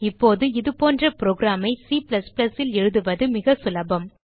இப்போது இதுபோன்ற புரோகிராம் ஐ C ல் எழுதுவது மிக சுலபம்